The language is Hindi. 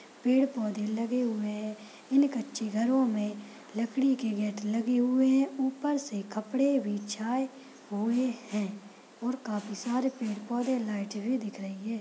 पेड़ पौधे लगे हुए है इन कच्चे घरो मे लकड़ी के गेट लगे हुए है उपर से कपड़े बिछाए हुए है ओर काफ़ी सारे पेड़ पौधे लाइटे भी दिख रही है।